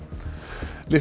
litlu